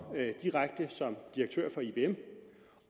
direkte som direktør for ibm